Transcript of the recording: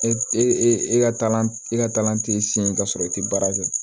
E e e ka e ka kalan t'i siɲɛ ka sɔrɔ i tɛ baara kɛ